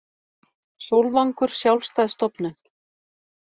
Sólvangur sjálfstæð stofnun